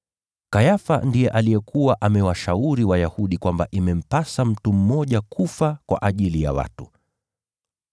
Kayafa ndiye alikuwa amewashauri Wayahudi kwamba imempasa mtu mmoja kufa kwa ajili ya watu.